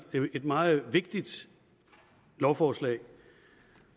et meget vigtigt lovforslag